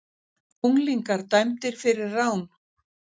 Unglingar dæmdir fyrir rán